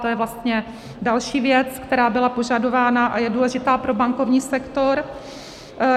To je vlastně další věc, která byla požadována a je důležitá pro bankovní sektor.